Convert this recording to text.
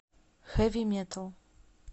хэви метал